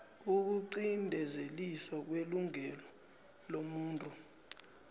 ukuqinteliswa kwelungelo lomuntu